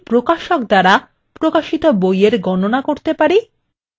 কিভাবে আমরা প্রতিটি প্রকাশক দ্বারা প্রকাশিত বইএর গণনা করতে পারি